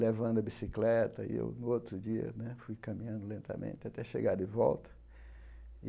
levando a bicicleta, e eu, no outro dia né, fui caminhando lentamente até chegar de volta.